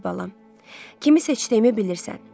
Əziz balam, kimi seçdiyimi bilirsən.